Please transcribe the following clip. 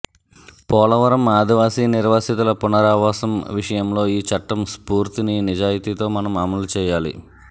పోలవరం ఆదివాసీ నిర్వాసితుల పునరావాసం విషయంలో ఈ చట్టం స్ఫూర్తిని నిజాయితీతో మనం అమలు చేయాలి